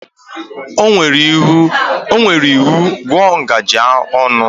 O nyere iwu, gụọ ngaji ọnụ!